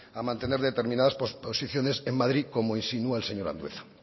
a mantener determinadas posiciones en madrid como insinúa el señor andueza